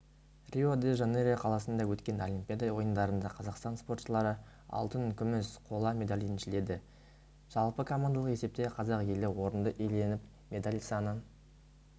рио-де-жанейро қаласында өткен олимпиада ойындарында қазақстан спортшылары алтын күміс қола медаль еншіледі жалпы командалық есепте қазақ елі орынды иеленіп медаль саны